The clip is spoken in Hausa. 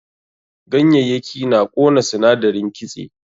Ganyayyaki na ƙona sinadarin kitse.